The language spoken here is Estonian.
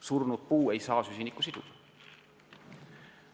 Surnud puu ei saa süsinikku siduda.